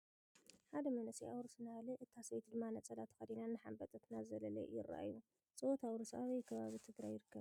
ሓደ መንእሰይ ኣውርስ እናበለ እታ ሰበይቲ ድማ ነፀላ ተከዲና እናሓበጠት እናዘለለ ይርኣዩ ። ፀወታ ኣውርስ ኣበይ ከባቢ ትግራይ ይርከብ ?